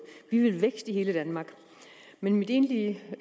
vi vil vækst i hele danmark men mit egentlige